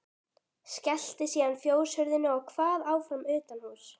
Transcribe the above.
Skellti síðan fjóshurðinni og kvað áfram utanhúss.